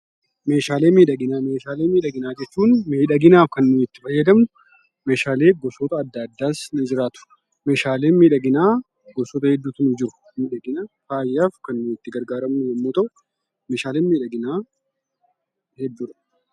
Meeshaalee miidhaginaa. meeshaalee miidhaginaa jechuun miidhaginaaf kan nuyi itti fayyadamnu meeshaalee gosoota adda addaas ni jiraatu meeshaaleen miidhaginaa gosoota hedduutu jiru miidhaginaaf faayyaaf kan nuti itti gargaarramnu yommuu ta'u meeshaaleen miidhaginaa hedduudha.